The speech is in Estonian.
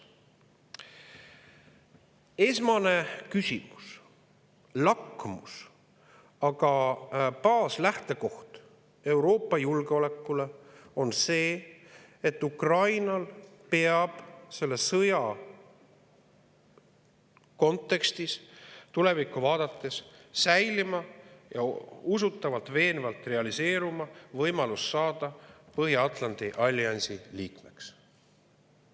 Esmane küsimus, lakmus, aga ka baaslähtekoht Euroopa julgeolekule on see, et Ukrainal peab selle sõja kontekstis tulevikku vaadates säilima ning usutavalt ja veenvalt realiseeruma võimalus saada Põhja-Atlandi alliansi liikmeks.